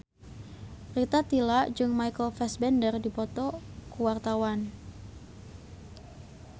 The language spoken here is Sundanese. Rita Tila jeung Michael Fassbender keur dipoto ku wartawan